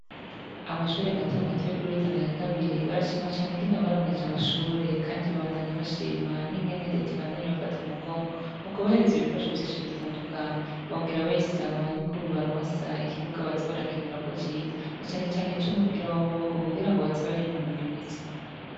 Amashuri matomato yo kuri Rutana ya kabiri barashima ingene baronkejwe amashuri kandi babandanya bashima ingene reta ibandanya ibafata mu mugongo mu kubahereza ibikoresho vy'ishuri bitandukanye bakongera babasa yuko bobaronsa ikibuga baza bara kinirako ciza na cane cane icu mupira w'amaboko kugira baje barinonora imitsi.